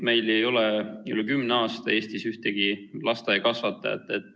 Meil ei ole juba üle kümne aasta Eestis ühtegi lasteaiakasvatajat.